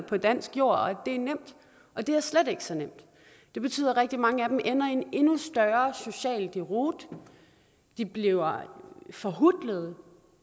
på dansk jord og at det er nemt det er slet ikke så nemt det betyder at rigtig mange af dem ender i en endnu større social deroute de bliver forhutlede og